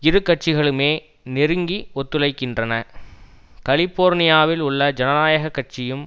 இருகட்சிகளுமே நெருங்கி ஒத்துழைக்கின்றன கலிபோர்னியாவில் உள்ள ஜனநாயக கட்சியும்